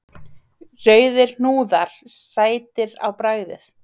Rauðir hnúðar, sætir á bragðið!